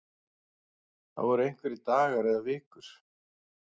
Það eru einhverjir dagar eða vikur